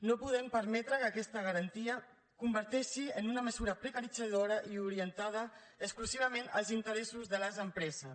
no podem permetre que aquesta garantia es converteixi en una mesura precaritzadora i orientada exclusivament als interessos de les empreses